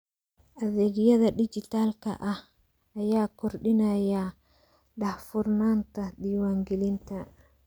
Adeegyada dijitaalka ah ayaa kordhinaya daahfurnaanta diiwaangelinta.